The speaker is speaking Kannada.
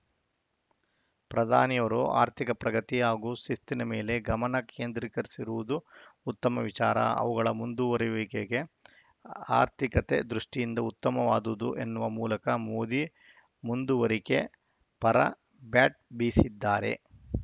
ಪ್ರಧಾನಿ ಅವರು ಆರ್ಥಿಕ ಪ್ರಗತಿ ಹಾಗೂ ಶಿಸ್ತಿನ ಮೇಲೆ ಗಮನ ಕೇಂದ್ರೀಕರಿಸಿರುವುದು ಉತ್ತಮ ವಿಚಾರ ಅವುಗಳ ಮುಂದುವರಿಯುವಿಕೆಗೆ ಆರ್ಥಿಕತೆ ದೃಷ್ಟಿಯಿಂದ ಉತ್ತಮವಾದುದು ಎನ್ನುವ ಮೂಲಕ ಮೋದಿ ಮುಂದುವರಿಕೆ ಪರ ಬ್ಯಾಟ್‌ ಬೀಸಿದ್ದಾರೆ